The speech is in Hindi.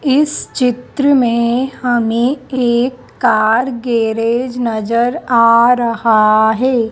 इस चित्र में हमें एक कार गैरेज नजर आ रहा है।